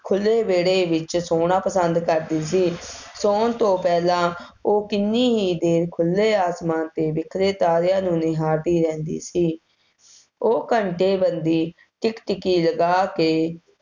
ਖੁੱਲ੍ਹੇ ਵਿਹੜੇ ਵਿੱਚ ਸੌਣਾ ਪਸੰਦ ਕਰਦੀ ਸੀ। ਸੌਣ ਤੋਂ ਪਹਿਲਾਂ ਉਹ ਕਿੰਨੀ ਹੀ ਦੇਰ ਖੁੱਲ੍ਹੈ ਅਸਮਾਨ 'ਤੇ ਬਿਖਰੇ ਤਾਰਿਆਂ ਨੂੰ ਨਿਹਾਰਦੀ ਰਹਿੰਦੀ ਸੀ। ਉਹ ਘੰਟੇ ਬੱਧੀ ਟਿਕ ਟਿਕੀ ਲਗਾ ਕੇ